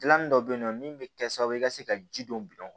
Dilanni dɔ bɛ yen nɔ min bɛ kɛ sababu ye i ka se ka ji don